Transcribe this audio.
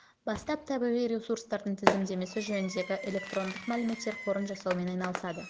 бастап табиғи ресурстардың тізімдемесі жөніндегі электрондық мәліметтер қорын жасаумен айналысады